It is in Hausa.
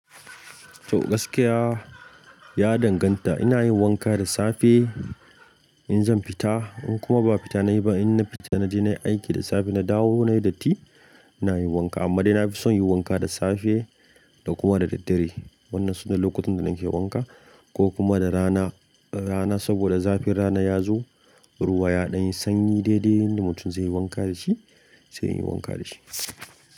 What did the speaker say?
To, gaskiya ya danganta. Ina yin wanka da safe in zan fita in kuma ba fita nayi ba, in na fita naje nayi aiki da safe na dawo nayi datti, ina yin wanka. Amma dai nafison yin wanka da safe da kuma da daddare. Wannan sune lokutan da nake yin wanka ko kuma da rana, rana saboda zafin rana ya zo, ruwa ya ɗan yi sanyi. Daidai yanda mutum zai yi wanka da shi, zai yi wanka da shi.